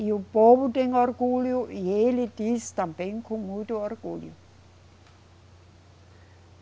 E o povo tem orgulho, e ele disse também com muito orgulho.